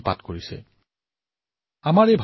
এই আমাৰ ভাৰতমাতা এই আমাৰ দেশ বহুৰত্না বসুন্ধৰা